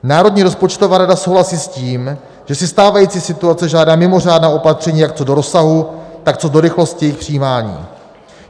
Národní rozpočtová rada souhlasí s tím, že si stávající situace žádá mimořádná opatření jak co do rozsahu, tak co do rychlosti jejich přijímání.